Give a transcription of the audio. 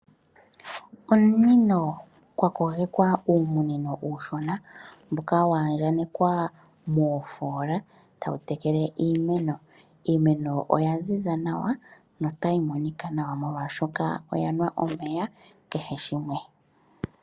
Omunino kwakogekwa uumunino uushona mboka waandjakanekwa moofola tawu tekele iimeno. Iimeno oya ziza nawa molwaashoka oyanwa omeya kehe shimwe.